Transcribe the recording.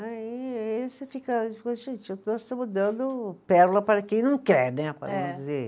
Aí, aí você fica, gente, nós estamos dando pérola para quem não quer, né? É. dizer